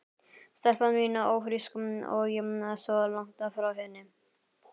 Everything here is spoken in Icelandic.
Stelpan mín ófrísk og ég svo langt frá henni.